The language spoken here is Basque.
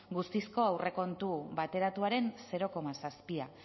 guztizko aurrekontua bateratuaren zero koma zazpia